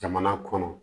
Jamana kɔnɔ